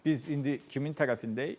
Biz indi kimin tərəfindəyik?